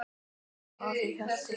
Elsku afi Hjalli.